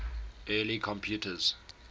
early computers